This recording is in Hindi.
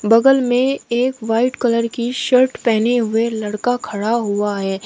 बगल में एक वाइट कलर की शर्ट पहने हुए लड़का खड़ा हुआ है।